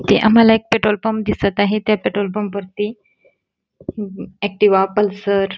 इथे आम्हाला एक पेट्रोलपपं दिसत आहे त्या पेट्रोलपंप वरती आक्टिवा पल्सर --